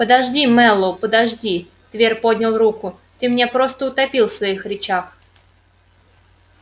подожди мэллоу подожди твер поднял руку ты меня просто утопил в своих речах